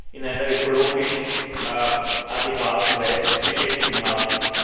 in einer ökologisch adäquaten Weise zu beschäftigen haben.